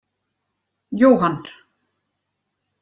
Johan